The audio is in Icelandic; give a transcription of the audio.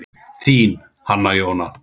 Þín, Hanna Jóna.